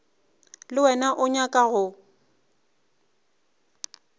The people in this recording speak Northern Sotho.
le wena o nyaka go